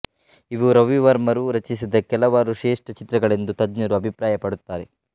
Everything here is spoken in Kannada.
ಇವು ರವಿವರ್ಮರು ರಚಿಸಿದ ಕೆಲವಾರು ಶ್ರೇಷ್ಟಚಿತ್ರಗಳೆಂದು ತಜ್ಞರು ಅಭಿಪ್ರಾಯ ಪಡುತ್ತಾರೆ